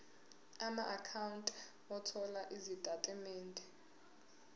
amaakhawunti othola izitatimende